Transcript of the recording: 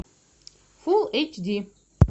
фул эйч ди